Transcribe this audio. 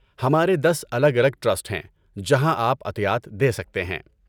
ہمارے دس الگ الگ ٹرسٹ ہیں جہاں آپ عطیات دے سکتے ہیں